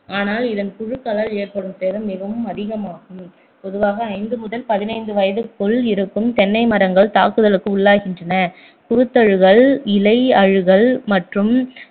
ஆனால் இதன் புழுக்களால் ஏற்படும் சேதம் மிகவும் அதிகமாகும் பொதுவாக ஐந்து முதல் பதினைந்து வயதுக்குள் இருக்கும் தென்னை மரங்கள் தாக்குதலுக்கு உள்ளாகின்றன குருத்தழுகல் இலை அழுகல் மற்றும்